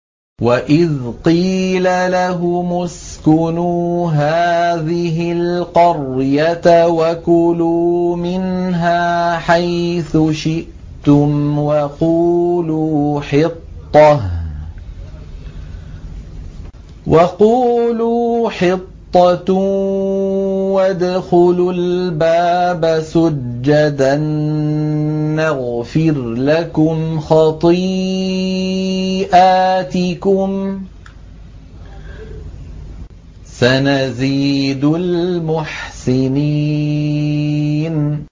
وَإِذْ قِيلَ لَهُمُ اسْكُنُوا هَٰذِهِ الْقَرْيَةَ وَكُلُوا مِنْهَا حَيْثُ شِئْتُمْ وَقُولُوا حِطَّةٌ وَادْخُلُوا الْبَابَ سُجَّدًا نَّغْفِرْ لَكُمْ خَطِيئَاتِكُمْ ۚ سَنَزِيدُ الْمُحْسِنِينَ